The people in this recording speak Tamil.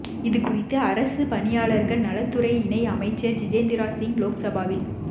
இது குறித்து அரசுப் பணியாளர்கள் நலத்துறை இணை அமைச்சர் ஜிதேந்திரா சிங் லோக்சபாவில்